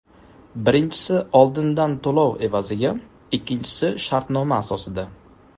Birinchisi oldindan to‘lov evaziga, ikkinchisi shartnoma asosida.